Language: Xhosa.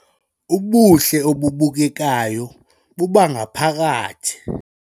Ubuhle obubukekayo bobangaphakathi